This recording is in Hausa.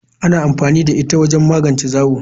Ana amfani da ita wajen magance zawo.